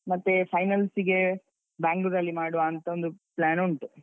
ಮತ್ತೆ finals ಗೆ Bangalore ಅಲ್ಲಿ ಮಾಡುವಾಂತ ಒಂದು plan ಉಂಟು.